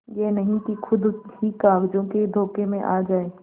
यह नहीं कि खुद ही कागजों के धोखे में आ जाए